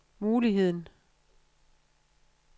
muligheden